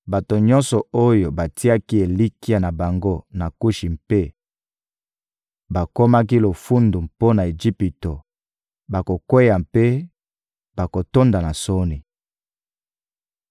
Bato nyonso oyo batiaki elikya na bango na Kushi mpe bakomaki lofundu mpo na Ejipito bakokweya mpe bakotonda na soni.